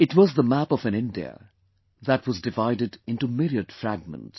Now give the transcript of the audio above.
It was the map of an India that was divided into myriad fragments